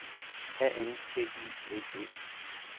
A N G I V E